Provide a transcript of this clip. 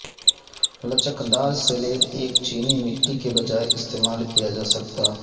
لچکدار سلیٹ ایک چینی مٹی کی بجائے استعمال کیا جا سکتا